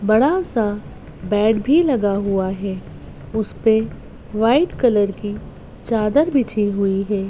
बड़ा सा बेड भी लगा हुआ है उस पे वाइट कलर की चादर बिछी हुई है।